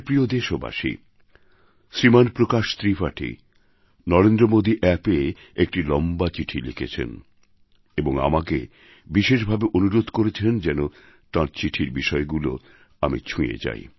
প্রিয় দেশবাসী শ্রীমান প্রকাশ ত্রিপাঠী নরেন্দ্র মোদী অ্যাপএ একটি লম্বা চিঠি লিখেছেন এবং আমাকে বিশেষভাবে অনুরোধ করেছেন যেন তাঁর চিঠির বিষয়গুলি আমি ছুঁয়ে যাই